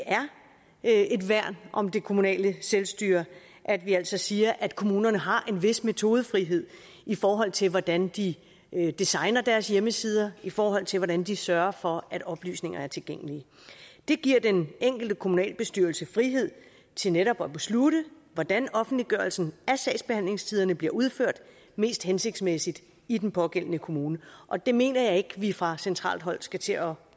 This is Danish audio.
er et værn om det kommunale selvstyre at vi altså siger at kommunerne har en vis metodefrihed i forhold til hvordan de designer deres hjemmesider i forhold til hvordan de sørger for at oplysninger er tilgængelige det giver den enkelte kommunalbestyrelse frihed til netop at beslutte hvordan offentliggørelsen af sagsbehandlingstiderne bliver udført mest hensigtsmæssigt i den pågældende kommune og det mener jeg ikke at vi fra centralt hold skal til at